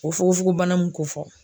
O fukofogon bana mun kun fɔla